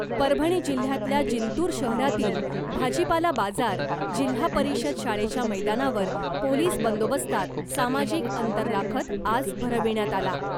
परभणी जिल्ह्यातल्या जिंतूर शहरातील भाजीपाला बाजार जिल्हा परिषद शाळेच्या मैदानावर पोलीस बंदोबस्तात सामाजिक अंतर राखत आज भरविण्यात आला .